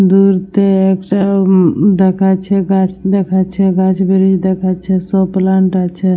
দূর তে একটা ঊম ম দেখাচ্ছে গাছ দেখাচ্ছে গাছ ব্রিজ দেখাচ্ছে। সব প্লান্ট আছে।